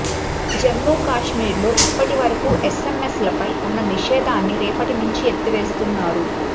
జమ్మూ కాశ్మీర్ లో ఇప్పటివరకు ఎస్సెమ్మెస్ ల పై ఉన్న నిషేధాన్ని రేపటి నుంచి ఎత్తివేస్తున్నారు